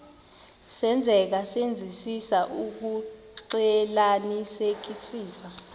senzeka senzisisa ukuxclelanisekisisa